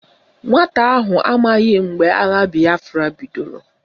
Nwata ahụ amaghị mgbe agha bịafra bidoro